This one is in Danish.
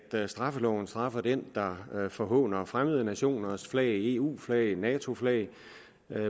at straffeloven straffer den der forhåner fremmede nationers flag eus flag og natos flag